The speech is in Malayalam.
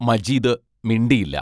മജീദ് മിണ്ടിയില്ല.